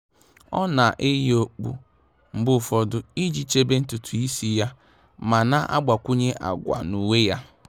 Ọ́ nà-eyì okpu mgbe ụfọdụ iji chèbè ntùtù ísí yá ma nà-àgbakwụnye àgwà na uwe yá.